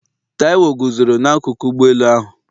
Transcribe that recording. Taiwo guzoro n'akụkụ ụgbọ elu ahụ.